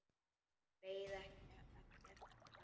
En beið ekki eftir svari.